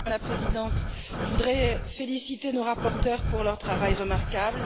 Madame la Présidente, je voudrais féliciter nos rapporteurs pour leur travail remarquable.